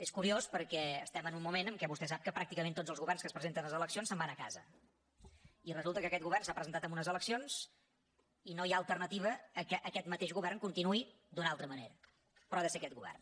és curiós perquè estem en un moment en què vostè sap que pràcticament tots els governs que es presenten a les eleccions se’n van a casa i resulta que aquest govern s’ha presentat en unes eleccions i no hi ha alternativa que aquest mateix govern continuï d’una altra manera però ha de ser aquest govern